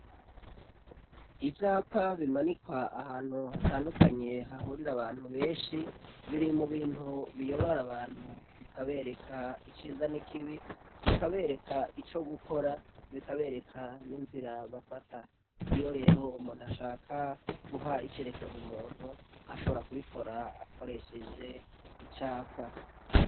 Ivyapq bimanikwa ahantu hahurira abantu benshi biri mubintu biyobora abantu bikabereka iciza nikibi, bikabereka ico gukora ,bikabereka n'inzira bafata iyo rero umuntu ashaka guha icerekezo umuntu, ahobora kuikora akoresheje icapa.